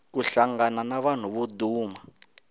ku hlangana na vanhu vo duma